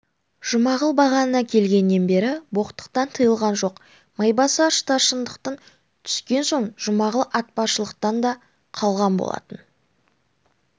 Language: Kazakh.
жұмағұл бағана келгеннен бері боқтықтан тыйылған жоқ майбасар старшындықтан түскен соң жұмағұл атшабарлықтан да қалған болатын